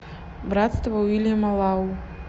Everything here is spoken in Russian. братство уильяма лау